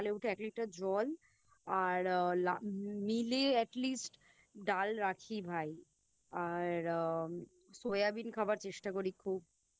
উঠে এক লিটার জল আর আ Meal এ At least ডাল রাখিই ভাই আর আম Soya bean খাবার চেষ্টা করি খুব